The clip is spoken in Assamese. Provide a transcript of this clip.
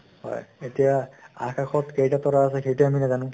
হয় । এতিয়া, আকাশত কেইটা তৰা আছে, সেইটো আমি নাজানো ।